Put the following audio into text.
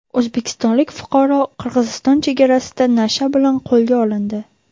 O‘zbekistonlik fuqaro Qirg‘iziston chegarasida nasha bilan qo‘lga olindi.